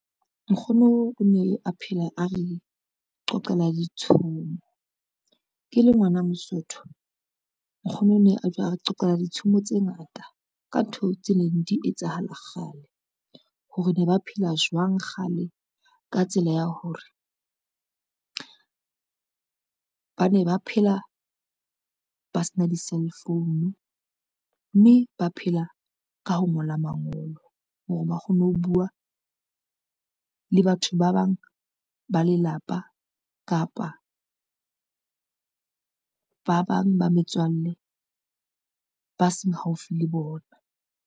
Nkgono o ne a phela a re qoqelwa ditshomo, ke le ngwana Mosotho nkgono o ne a re qoqelwa ditshomo tse ngata ka ntho tse neng di etsahala kgale. Hore ne ba phela jwang kgale ka tsela ya hore ba ne ba phela ba sena di-cell phone, mme ba phela ka ho ngola mangolo hore ba kgone ho bua le batho ba bang ba lelapa, kapa ba bang ba metswalle ba seng haufi le bona.